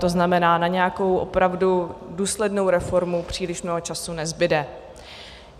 To znamená, na nějakou opravdu důslednou reformu příliš mnoho času nezbude.